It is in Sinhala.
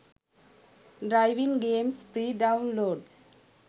driving games free download